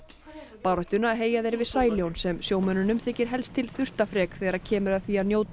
baráttuna heyja þeir við sem sjómönnunum þykir helst til þurftafrek þegar kemur að því að njóta